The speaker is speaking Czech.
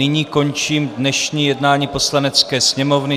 Nyní končím dnešní jednání Poslanecké sněmovny.